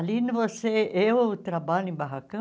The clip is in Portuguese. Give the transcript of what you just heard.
Ali, você eu trabalho em barracão,